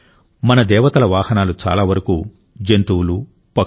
మన దేవతల వాహనాలు చాలా వరకు జంతువులు పక్షులు